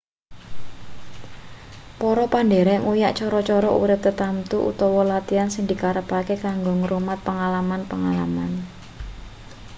para pandherek nguyak cara-cara urip tertamtu utawa latihan sing dikarepake kanggo ngrumat pengalaman-pengalaman